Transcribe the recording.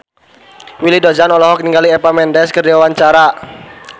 Willy Dozan olohok ningali Eva Mendes keur diwawancara